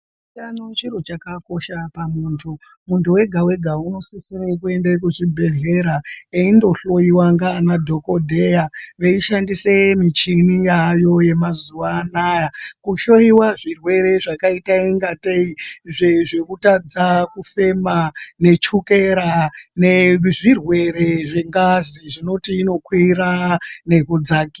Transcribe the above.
Utano chiro chakakosha pamuntu. Muntu wega-wega unosisire kuende kuchibhehlera eindojhloyiwa ngaanadhokodheya. Veishandise michini yaayo yemazuva anaya kuhloyiwa zvirwere zvakaita ingatei zvekutadza kufema nechukera nezvirwere zvengazi zvinoti inokwira nekudza...